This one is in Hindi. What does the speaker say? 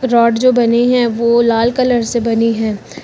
रॉड जो बने हैं वो लाल कलर से बनी हैं।